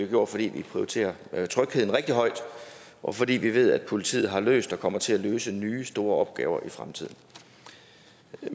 gjort fordi vi prioriterer trygheden rigtig højt og fordi vi ved at politiet har løst og kommer til at løse nye store opgaver i fremtiden